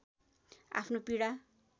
आफ्नो पीडा